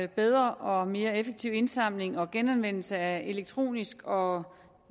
bedre og mere effektiv indsamling og genanvendelse af elektronisk og